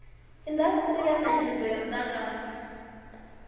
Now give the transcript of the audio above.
indasiteri ya netshedzo ya mudagasi